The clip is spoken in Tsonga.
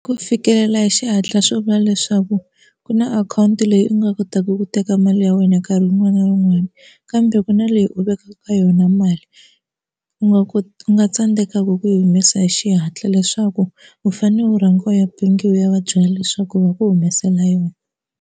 Ku fikelela hi xihatla swo vula leswaku ku na akhawunti leyi u nga kotaka ku teka mali ya wena nkarhi wun'wani na wun'wani kambe ku na leyi u vekaka yona mali u nga ka u nga tsandzekaka ku yi humesa hi xihatla leswaku u fane u rhangiwa ya ebank u ya va byela leswaku ku va ku humesela yona.